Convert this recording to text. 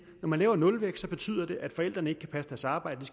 når man laver nulvækst betyder det at forældrene ikke kan passe deres arbejde